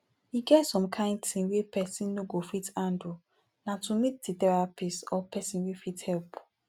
e get some kind thing wey person no go fit handle na to meet therapist or person wey fit help